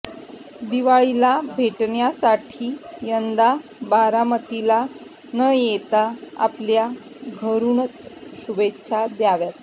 दिवाळीला भेटण्यासाठी यंदा बारामतीला न येता आपापल्या घरुनच शुभेच्छा द्याव्यात